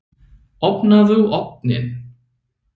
Opnaðu ofninn!